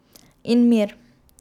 In mir.